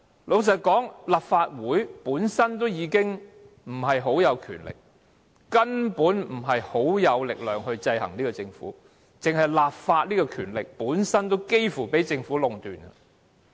老實說，立法會本身已權力不大，根本無力制衡政府，單是立法這項權力本身也幾乎被政府壟斷。